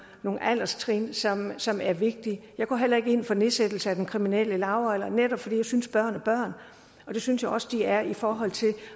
alderstrin som som er vigtige jeg går heller ikke ind for nedsættelse af den kriminelle lavalder netop fordi jeg synes at børn er børn og det synes jeg også de er i forhold til